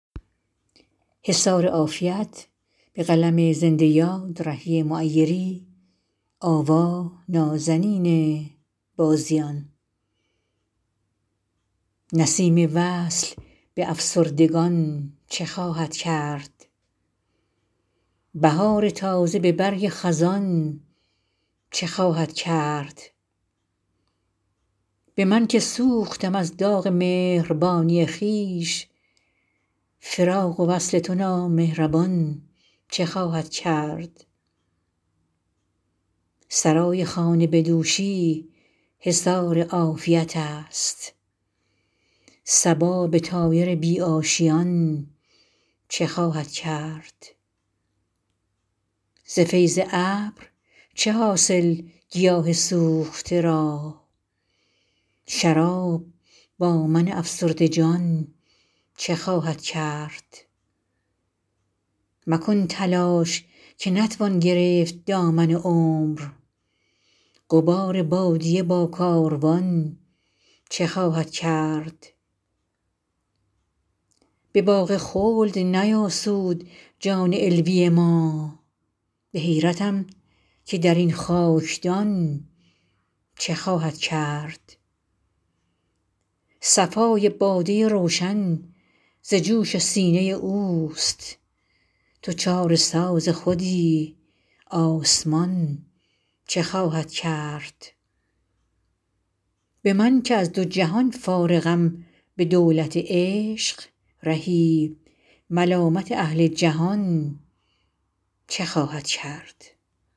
نسیم وصل به افسردگان چه خواهد کرد بهار تازه به برگ خزان چه خواهد کرد به من که سوختم از داغ مهربانی خویش فراق و وصل تو نامهربان چه خواهد کرد سرای خانه به دوشی حصار عافیت است صبا به طایر بی آشیان چه خواهد کرد ز فیض ابر چه حاصل گیاه سوخته را شراب با من افسرده جان چه خواهد کرد مکن تلاش که نتوان گرفت دامن عمر غبار بادیه با کاروان چه خواهد کرد به باغ خلد نیاسود جان علوی ما به حیرتم که در این خاکدان چه خواهد کرد صفای باده روشن ز جوش سینه اوست تو چاره ساز خودی آسمان چه خواهد کرد به من که از دو جهان فارغم به دولت عشق رهی ملامت اهل جهان چه خواهد کرد